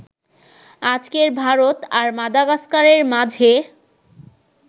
আজকের ভারত আর মাদাগাস্কারের মাঝে